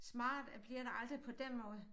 Smart bliver det aldrig på den måde